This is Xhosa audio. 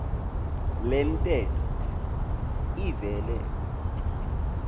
le ntetho ivele